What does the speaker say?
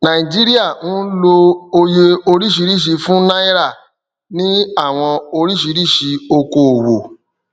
naijiria ń lọ òye oríṣiríṣi fún náírà ni àwọn oríṣiríṣi ọkọ owó